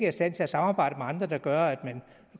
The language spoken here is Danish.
i stand til at samarbejde med andre der gør at man